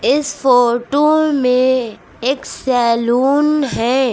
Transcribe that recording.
इस फोटु में एक सैलून है।